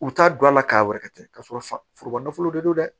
U t'a don a la k'a wɛrɛ kɛ k'a sɔrɔ forokolon de don dɛ